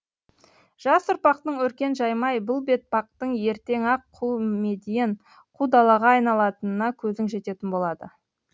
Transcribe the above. жас ұрпақтың өркен жаймай бұл бетпақтың ертең ақ қу медиен қу далаға айналатынына көзің жететін болады